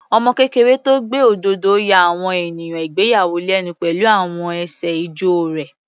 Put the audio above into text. Ọmọ kékeré tó gbé òdodo ya àwọn ènìyàn ìgbéyàwó lẹ́nu pẹ̀lú àwọn ẹsẹ̀ ijó rẹ̀.